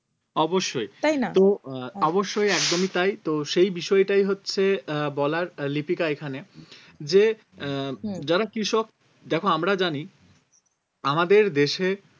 অবশ্যই তাই না? তো আহ অবশ্যই একদমই তাই তো সেই বিষয়টাই হচ্ছে আহ বলার লিপিকা এখানে যে আহ যারা কৃষক দেখো আমরা জানি আমাদের দেশে